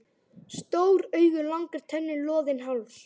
Stór augu, langar tennur, loðinn háls.